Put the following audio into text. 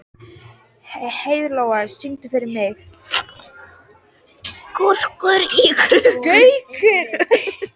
Heiðlóa, syngdu fyrir mig „Gaukur í klukku“.